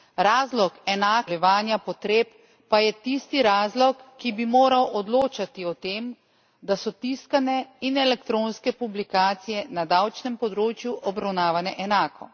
Razlog enakega načina zadovoljevanja potreb pa je tisti razlog, ki bi moral odločati o tem, da so tiskane in elektronske publikacije na davčnem področju obravnavane enako.